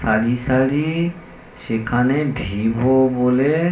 সারি সারিসেখানে ভিভো বলে।